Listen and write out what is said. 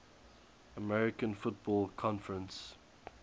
american football conference